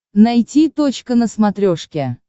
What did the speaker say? найти точка на смотрешке